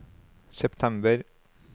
september